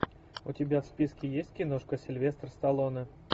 у тебя в списке есть киношка сильвестр сталлоне